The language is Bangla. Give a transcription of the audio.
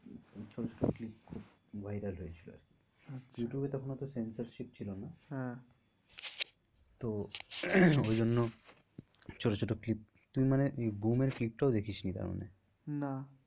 ছোটো ছোটো clip খুব viral হয়েছিল আর কি আচ্ছা ইউটিউবে তখন অত censorship ছিল না। হ্যাঁ তো ওই জন্য ছোটো ছোটো clip তুই মানে এই এর clip টাও দেখিসনি তার মানে। না